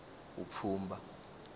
vupfhumba